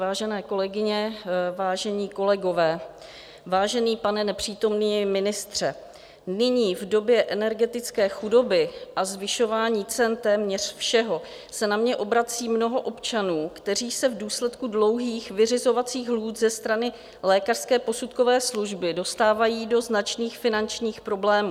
Vážené kolegyně, vážení kolegové, vážený pane nepřítomný ministře, nyní v době energetické chudoby a zvyšování cen téměř všeho se na mě obrací mnoho občanů, kteří se v důsledku dlouhých vyřizovacích lhůt ze strany lékařské posudkové služby dostávají do značných finančních problémů.